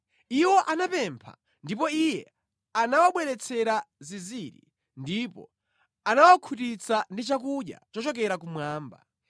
Iwo anapempha, ndipo Iye anawabweretsera zinziri ndipo anawakhutitsa ndi chakudya chochokera kumwamba.